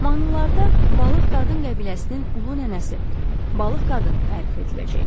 Mahnılarda balıq qadın qəbiləsinin ulu nənəsi, balıq qadın tərif ediləcək.